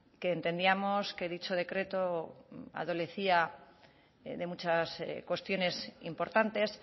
que entendíamos que dicho decreto adolecía de muchas cuestiones importantes